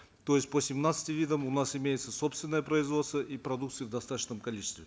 то есть по семнадцати видам у нас имеется собственное производство и продукции в достаточном количестве